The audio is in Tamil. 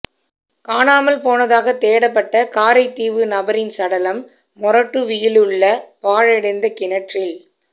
காணாமல் போனதாக தேடப்பட்ட காரைதீவு நபரின் சடலம் மொறட்டுவியிலுள்ள பாழடைந்த கிணற்றில்